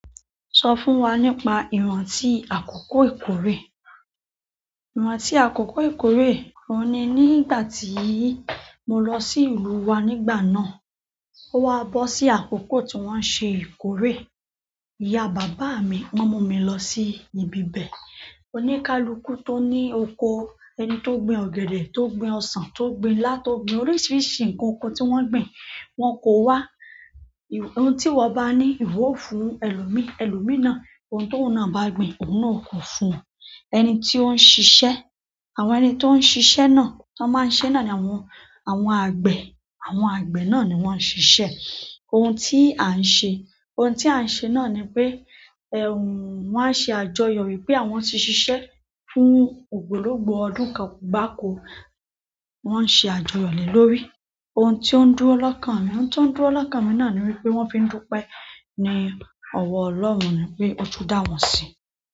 Sọ fún wa nípa ìrántí àkókò ìkórè. Ìrántí àkókò ìkórè, òun ni ní ìgbà tíì mo lọ sí ìlú wa nígbà náà. Ó wa bọ́ sí àkókò tí wọ́n ń ṣe ìkórè. Ìyá bàbá mi wọ́n mú mi lọ sí ibi bẹ̀. Oníkálukú tó ní oko, ẹni tó gbin ọ̀gẹ̀dẹ̀, tó gbin ọsàn, tó gbin ilá, tó gbin oríṣiríṣi nǹkan oko tí wọ́n gbin. Wọn kò wá. Ohun tí ìwọ bá ní ìwọ ó fún ẹlòmíí, ẹlòmíí náà ohun t'óun náà bá gbin, òun náà ó kó fún won. Ẹni tí ó ń ṣiṣẹ́, àwọn ẹni tó ń ṣiṣẹ́ náà, wọn máa ń ṣe náà ni àwọn, àwọn àgbẹ̀. Àwọn àgbẹ̀ náà ni wọ́n ń ṣiṣẹ́. Ohun tí à ń ṣe, ohun tí à ń ṣe náà ni pé, ẹ̀ wọ́n á ṣe àjọyọ̀ wípé àwọn ti ṣiṣẹ́ fún ògbólógbòó ọdún kan gbáko, wọ́n n ṣe àjọyọ̀ lé lórí. Oun ti o n dúró lọ́kàn mi, oun ti o n dúró lọ́kàn mi náà ni wípé, won fi n dupe ni owo ọlọ́run nipe o tun dawon si.